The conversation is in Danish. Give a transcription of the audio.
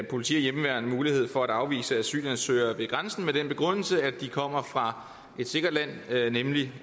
politi og hjemmeværn mulighed for at afvise asylansøgere ved grænsen med den begrundelse at de kommer fra et sikkert land nemlig